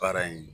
Baara in